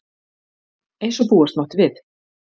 Eins og búast mátti við